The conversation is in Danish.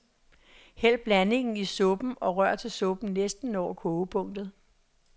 Hæld blandingen i suppen og rør til suppen næsten når kogepunktet.